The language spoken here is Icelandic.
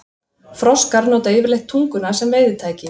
Froskar nota yfirleitt tunguna sem veiðitæki.